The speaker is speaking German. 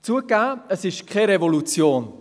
– Zugegeben, es ist keine Revolution.